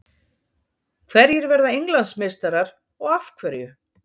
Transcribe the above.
Hverjir verða Englandsmeistarar og af hverju?